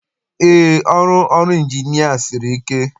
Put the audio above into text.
Eé, ọrụ ọrụ Ịnjinịa siri ike.